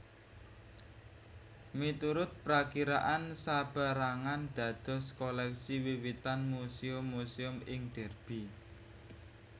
Miturut prakiraan sapérangan dados koleksi wiwitan Muséum muséum ing Derby